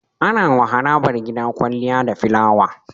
Anawa harabar gida kwaliya da filawa